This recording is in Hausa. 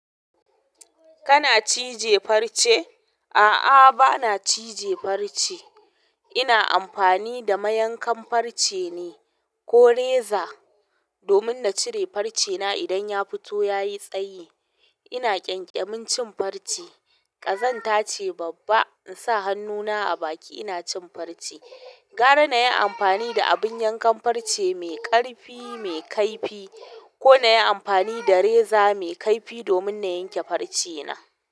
Kana cije farce? A'a, bana cije farce. Ina amfani da mayankan farce ne ko reza domin na cire farcena idan ya fito ya yi tsayi. Ina ƙyanƙyamin cin farce. Ƙazanta ce babba in sa hannuna a baki ina cin farce. Gara na yi amfani da abin yankan farce mai ƙarfi, mai kaifi ko na yi amfani da reza mai kaifi domin na yanke farcena.